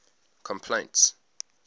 complaints